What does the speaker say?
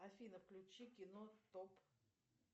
афина включи кино топ